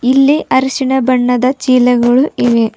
ಇಲ್ಲಿ ಅರಿಶಿನ ಬಣ್ಣದ ಚೀಲಗಳು ಇವೆ.